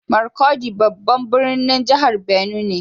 Markudi babban birnin jihar benue ne